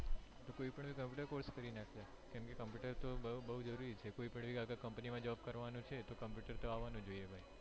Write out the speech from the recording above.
કોઈ પણ computer course કરી નાખ્યે કેમ કે computer તો બોજ જરૂરી છે કોઈ પણ company માં job કરવાનું છે તો computer તો આવાનુ જ છે